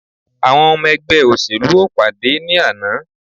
Àwọn ọmọ ẹgbẹ́ òṣèlú o pàdé ní àná.